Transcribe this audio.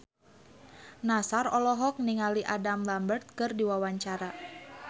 Nassar olohok ningali Adam Lambert keur diwawancara